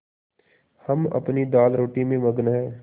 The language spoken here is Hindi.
हम अपनी दालरोटी में मगन हैं